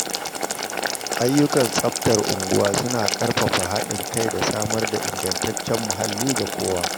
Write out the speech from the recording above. Ayyukan tsaftar unguwa suna ƙarfafa haɗin kai da samar da ingantaccen muhalli ga kowa.